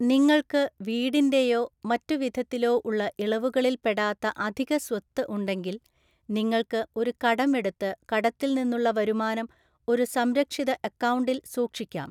നിങ്ങൾക്ക് വീടിന്റെയോ മറ്റു വിധത്തിലോ ഉള്ള ഇളവുകളില്‍ പെടാത്ത അധിക സ്വത്ത് ഉണ്ടെങ്കിൽ, നിങ്ങൾക്ക് ഒരു കടം എടുത്ത് കടത്തില്‍നിന്നുള്ള വരുമാനം ഒരു സംരക്ഷിത അക്കൗണ്ടിൽ സൂക്ഷിക്കാം.